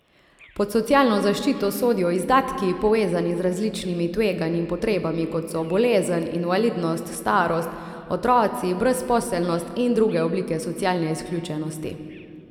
Pod socialno zaščito sodijo izdatki, povezani z različnimi tveganji in potrebami, kot so bolezen, invalidnost, starost, otroci, brezposelnost in druge oblike socialne izključenosti.